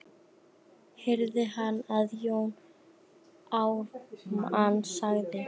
heyrði hann að Jón Ármann sagði.